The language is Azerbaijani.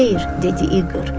Xeyr, dedi İqır.